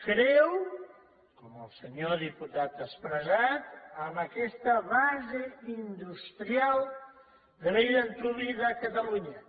creu com el senyor diputat ha expressat en aquesta base industrial de bell antuvi de catalunya